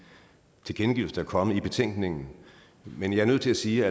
tilkendegivelser der er kommet i betænkningen men jeg er nødt til at sige